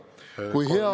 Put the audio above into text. Lisaaega kolm minutit!